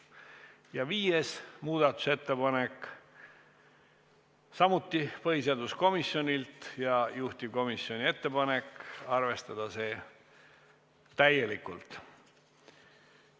Ja viies muudatusettepanek, samuti põhiseaduskomisjonilt ja juhtivkomisjoni ettepanek: arvestada täielikult.